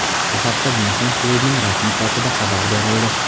Bu haqda Myunxen klubining rasmiy saytida xabar berildi .